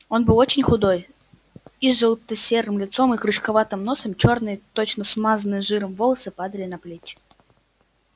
он был очень худой изжелта-серым лицом и крючковатым носом чёрные точно смазанные жиром волосы падали на плечи